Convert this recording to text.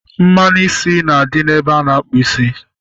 Mmanụ isi na-adị ebe a na-akpụ isi